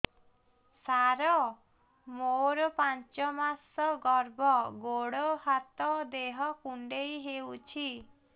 ସାର ମୋର ପାଞ୍ଚ ମାସ ଗର୍ଭ ଗୋଡ ହାତ ଦେହ କୁଣ୍ଡେଇ ହେଉଛି